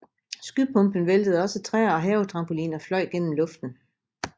Skypumpen væltede også træer og havetrampoliner fløj gennem luften